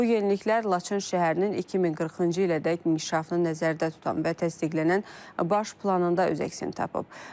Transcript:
Bu yeniliklər Laçın şəhərinin 2040-cı ilədək inkişafını nəzərdə tutan və təsdiqlənən baş planında öz əksini tapıb.